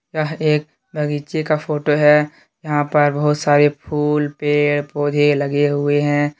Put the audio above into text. यह एक बगीचे का फोटो है यहां पर बहुत सारे फूल पेड़ पौधे लगे हुए हैं।